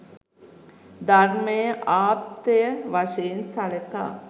ධර්මය ආප්තය වශයෙන් සළකා